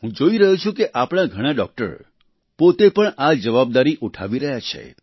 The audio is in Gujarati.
હું જોઈ રહ્યો છું કે આપણા ઘણાં ડોક્ટર પોતે પણ આ જવાબદારી ઉઠાવી રહ્યા છે